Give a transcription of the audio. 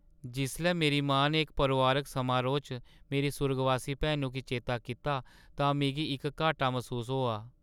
जिसलै मेरी मां ने इक परोआरिक समारोह् च मेरी सुर्गवासी भैनु गी चेता कीता तां मिगी इक घाट्टा मसूस होआ।